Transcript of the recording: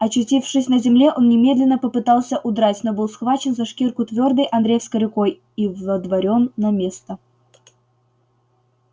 очутившись на земле он немедленно попытался удрать но был схвачен за шкирку твёрдой андреевой рукой и водворён на место